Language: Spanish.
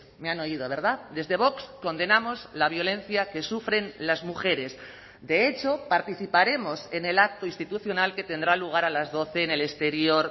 me han oído verdad desde vox condenamos la violencia que sufren las mujeres de hecho participaremos en el acto institucional que tendrá lugar a las doce en el exterior